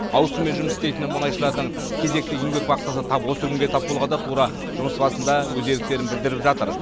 ауысыммен жұмыс істейтін мұнайшылардың кезекті еңбек вахтасы тап осы күнге тап болғанда тура жұмыс басында өз еріктерін білдіріп жатыр